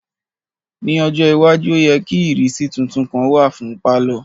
Ni ojo iwaju o yẹ ki ìrísí titun kan wa fun palọ.